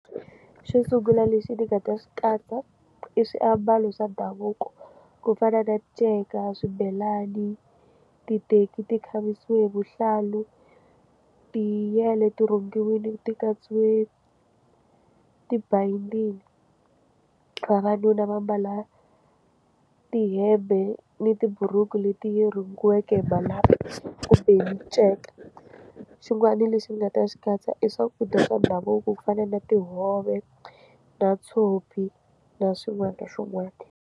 Xo sungula lexi ndzi nga ta xi katsa i swiambalo swa ndhavuko ku fana na nceka swibelani titeki ti khavisiwile hi vuhlalu ti yale ti rhungiwile ti katsiwile ti-binding vavanuna va mbala tihembe ni tiburuku leti yi rhungiweke malambhu kumbe hi miceka xin'wana lexi ndzi nga ta xi katsa i swakudya swa ndhavuko ku fana na tihove na tshopi na swin'wana na swin'wana.